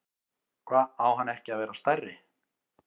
Hva, á hann ekki að vera stærri?